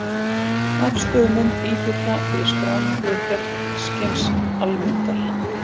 Afstöðumynd íhluta fyrir skráningu gegnskins-almyndar.